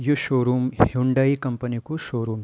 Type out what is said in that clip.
यु showroom Hyundai company कु showroom.